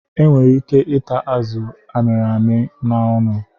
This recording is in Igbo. E nwere ike ịta azụ a mịrị amị n'ọnụ.